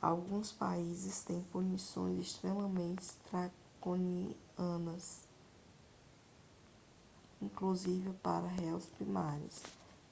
alguns países têm punições extremamente draconianas inclusive para réus primários